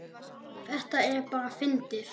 Þetta er bara fyndið.